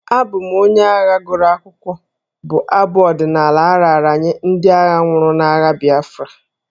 Abụ m onye agha gụrụ akwụkwọ'' bụ abụ ọdịnala a raara nye ndị agha nwụrụ n'agha Biafra.